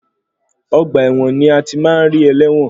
Ọgbà ẹ̀wọ̀n ni a ti máa ń ri ẹlẹ́wọ̀n.